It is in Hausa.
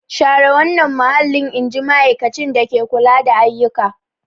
Share wannan mahallin! In ji ma'aikacin dake kula da ayyuka.